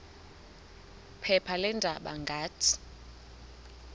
phepha leendaba ngathi